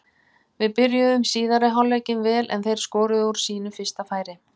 Við byrjuðum síðari hálfleikinn vel en þeir skoruðu úr sínu fyrsta færi.